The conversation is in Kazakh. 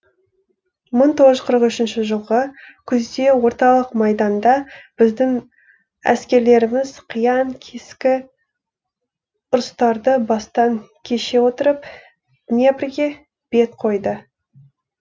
мың тоғыз жүз қырық үшінші жылғы күзде орталық майданда біздің әскерлеріміз қиян кескі ұрыстарды бастан кеше отырып днепрге бет қойды